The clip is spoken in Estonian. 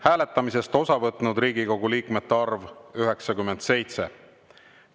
Hääletamisest osa võtnud Riigikogu liikmete arv – 97.